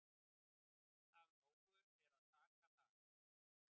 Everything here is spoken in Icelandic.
Af nógu er að taka þar.